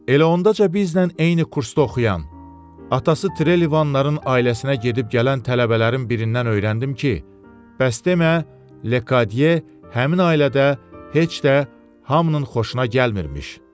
Elə ondaca bizlə eyni kursda oxuyan atası trelivalların ailəsinə gedib-gələn tələbələrin birindən öyrəndim ki, bəs demə, Lekadyə həmin ailədə heç də hamının xoşuna gəlmirmiş.